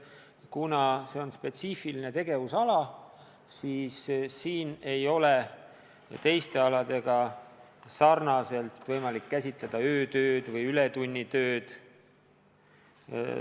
Kuna see on spetsiifiline tegevusala, siis ei ole seal teiste aladega sarnaselt võimalik käsitleda öötööd ja ületunnitööd.